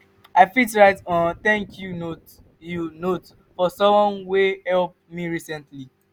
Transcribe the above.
i fit write um thank you note you note for someone wey help me recently.